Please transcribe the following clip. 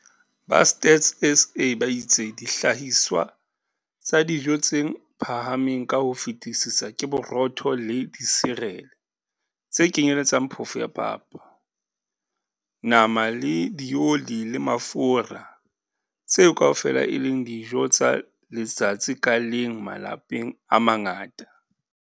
Ba Stats SA ba itse dihlahiswa tsa dijo tse phahameng ka ho fetisisa ke borotho le disirele tse kenyeletsang phofo ya papa, nama le dioli le mafura - tseo kaofela e leng dijo tsa letsatsi ka leng malapeng a mangata.